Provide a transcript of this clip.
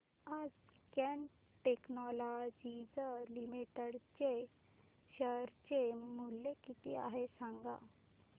आज Cat technologies limited चे share चे मूल्य किती आहे सांगा